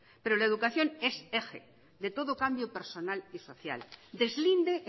pero la educación es eje de todo cambio personal y social deslinde